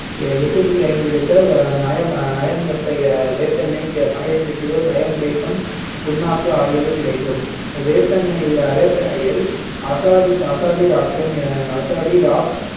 எட்டு புள்ளி ஐந்து litre நயம் நயம் வெப்ப வேப்பெண்ணெய் பன்னிரெண்டு kilo நயம் வேப்பம் புண்ணாக்கு ஆகியவை கிடைக்கும் வேப்பெண்ணெயில் வேப்பெண்ணெயில் அசாடி அசாடிராக்டின் அசாடிராக்